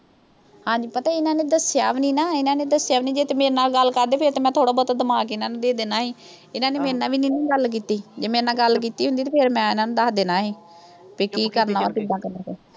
ਹਾਂਜੀ, ਪਤਾ ਇਨ੍ਹਾਂ ਨੇ ਦੱਸਿਆ ਵੀ ਨੀਂ ਨਾ। ਇਨ੍ਹਾਂ ਨੇ ਦੱਸਿਆ ਵੀ ਨੀਂ। ਜੇ ਕਿਤੇ ਮੇਰੇ ਨਾਲ ਗੱਲ ਕਰਦੇ, ਫਿਰ ਤੇ ਮੈਂ ਥੋੜਾ-ਮੋਟਾ ਦਿਮਾਗ ਇਨ੍ਹਾਂ ਨੂੰ ਦੇ ਦੇਣਾ ਸੀ। ਇਨ੍ਹਾਂ ਨੇ ਮੇਰੇ ਨਾਲ ਵੀ ਨੀਂ ਨਾ ਗੱਲ ਕੀਤੀ। ਜੇ ਮੇਰੇ ਨਾਲ ਗੱਲ ਕੀਤੀ ਹੁੰਦੀ ਤਾਂ ਮੈਂ ਇਨ੍ਹਾਂ ਨੂੰ ਦੱਸ ਦੇਣਾ ਸੀ, ਵੀ ਕੀ ਕਰਨਾ, ਕਿੱਦਾਂ ਕਰਨਾ।